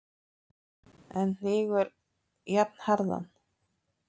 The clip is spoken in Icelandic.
en hnígur jafnharðan.